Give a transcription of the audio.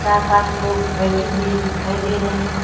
चार पांच लोग बैठे हुए दिखाई दे रहे हैं।